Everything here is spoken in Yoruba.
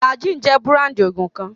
Flagyl jẹ́ búráńdì òògùn kan.